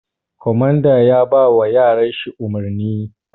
Komanda yabawa yaran shi umurni